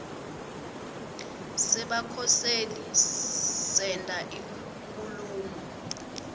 sebakhoseli senta inkhulumo